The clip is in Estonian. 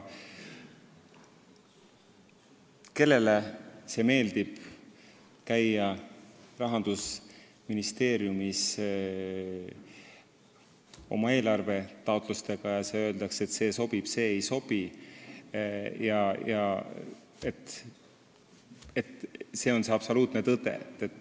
Kellele siis ikka meeldib käia oma eelarvetaotlustega Rahandusministeeriumis, kus öeldakse, et see sobib, see ei sobi ja see on see absoluutne tõde.